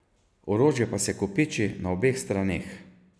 Orožje pa se kopiči na obeh straneh.